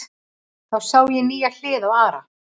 Þá sá ég nýja hlið á Ara.